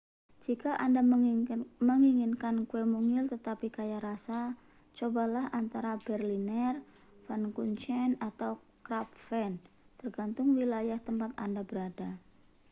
jika anda menginginkan kue mungil tetapi kaya rasa cobalah antara berliner pfannkuchen atau krapfen tergantung wilayah tempat anda berada